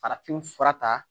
Farafin fura ta